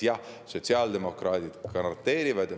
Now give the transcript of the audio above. Jah, sotsiaaldemokraadid seda garanteerivad.